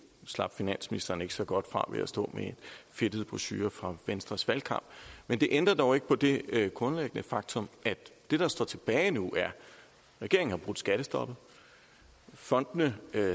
slap finansministeren ikke så godt fra ved at stå med en fedtet brochure fra venstres valgkamp men det ændrer dog ikke på det grundlæggende faktum at det der står tilbage nu er at regeringen har brudt skattestoppet fondene